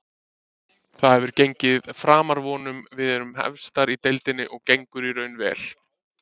Það hefur gengið framar vonum, við erum efstar í deildinni og gengur í raun vel.